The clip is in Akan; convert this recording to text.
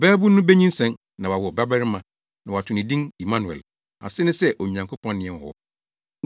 “Ɔbabun no benyinsɛn, na wawo ɔbabarima, na wɔato no din Immanuel” a ase ne sɛ, “Onyankopɔn ne yɛn wɔ hɔ.”